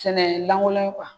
Sɛnɛ lankolon kan